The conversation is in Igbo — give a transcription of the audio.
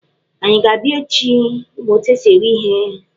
Anyị a ga-abịa echi ịmụ otu esi eghe ihe?